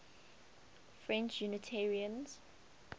french unitarians